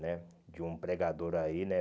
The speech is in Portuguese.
né De um pregador aí, né?